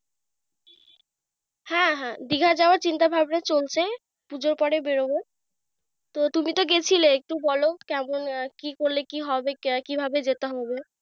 হ্যাঁ হ্যাঁ, দীঘায় যাওয়ার চিন্তা-ভাবনা চলছে পুজোর পরে বেরোবো। তুমি তো গেয়েছিলে একটু বল কেমন কি কি করলে কি হবে? আহ কি ভাবে যেতে হবে?